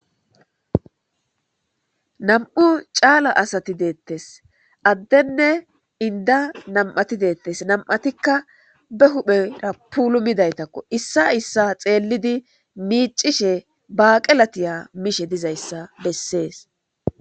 nam7u caala asati deettes. addenne inda nam7ati deettes .nam7atikka be huphera pulumidaytakko .issa issa xeellidi miicishe baaqela tiya mishe dizayissa bessees.